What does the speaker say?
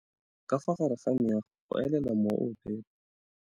Ka fa gare ga meago go elela mowa o o phepa.